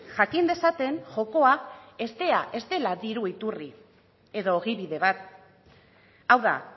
jakin dezaten jokoa ez dela diru iturri edo ogibide bat hau da